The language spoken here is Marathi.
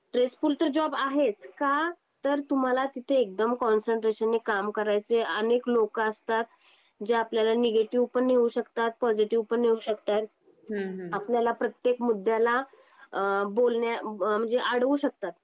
स्ट्रेसफुल तर जॉब आहेच. का? तर तुम्हाला तिथे एकदम कॉन्सेन्ट्रेशन ने काम करायचय अनके लोक असतात, जे आपल्या निगेटिव्ह पण येऊ शकतात. पॉझिटिव्ह पण येऊ शकता. आपल्याला प्रत्येक मुद्द्याला बोलण्याला म्हणजे अडवू शकतात.